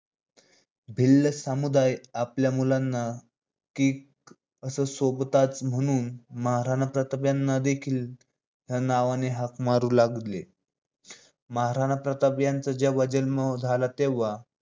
भिल्ल समुदाय आपल्या मुलांना कीक अस संबोधतात म्हणूनच महाराणा प्रताप यांना देखील या नावाने हाक मारल जायचं. महाराणा प्रताप यांचा जेव्हा जन्म झाला तेव्हा